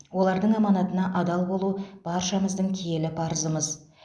олардың аманатына адал болу баршамыздың киелі парызымыз